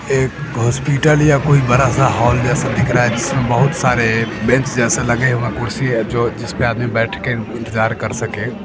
एक हॉस्पिटल या कोई बड़ा-सा हॉल जैसा दिख रहा है जिसमें बहुत सारे बेंच जैसे लगे हैं कुर्सी है जो जिसमें आदमी बैठ के इंतजार कर सके।